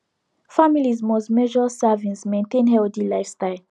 families must measure servings maintain healthy lifestyle